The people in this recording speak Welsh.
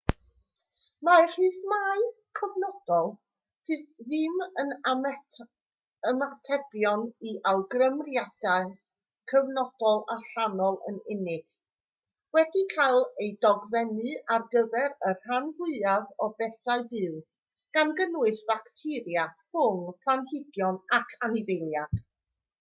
mae rhythmau cyfnodol sydd ddim yn ymatebion i awgrymiadau cyfnodol allanol yn unig wedi cael eu dogfennu ar gyfer y rhan fwyaf o bethau byw gan gynnwys bacteria ffwng planhigion ac anifeiliaid